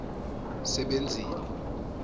sebenzile